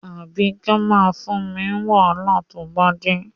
Àbíkẹ́ máa fún mi wàhálà tó bá dé.